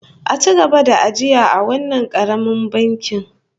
A ci gaba ajiya a wannan karamin bankin